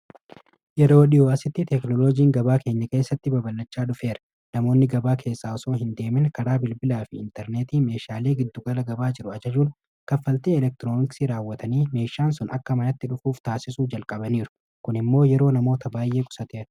Yeroo dhiyoo asitti teeknoolojiin gabaa keenya keessatti baballachaa dhufeera. Namoonni gabaa keessa otuu hin deemin, karaa bilbilaa fi intarneetii meeshaalee giddugala gabaa jiran ajajuun, kaffaltii elektirooniksii raawwatanii meeshaan sun akka manatti dhufuuf gochuu jalqabaniiru. Kun immoo yeroo namoota baay'ee qusateera.